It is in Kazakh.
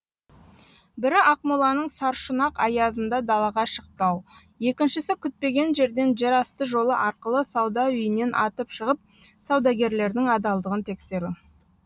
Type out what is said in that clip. бірі ақмоланың саршұнақ аязында далаға шықпау екіншісі күтпеген жерден жерасты жолы арқылы сауда үйінен атып шығып саудагерлердің адалдығын тексеру